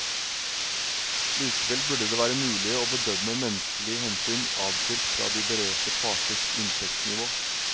Likevel burde det være mulig å bedømme menneskelige hensyn adskilt fra de berørte parters inntektsnivå.